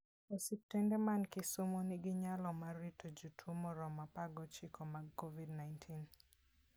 Osiptende man Kisumo nigi nyalo mar rito jotuo moromo apar gochiko mag Covid-19.